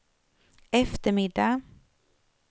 eftermiddag